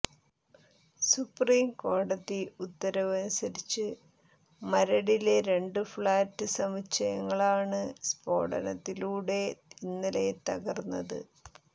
സുപ്രീംകോടതി ഉത്തരവ് അനുസരിച്ച് മരടിലെ രണ്ട് ഫ്ളാറ്റ് സമുച്ചയങ്ങളാണ് സ്ഫോടനത്തിലൂടെ ഇന്നലെ തകർത്തത്